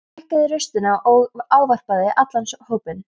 Biskup hækkaði raustina og ávarpaði allan hópinn.